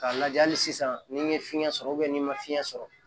K'a lajɛ hali sisan ni n ye fiɲɛ sɔrɔ n'i ma fiɲɛ sɔrɔ